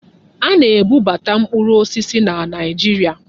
Aga na-ebubata mkpụrụ osisi na Naịjirịa.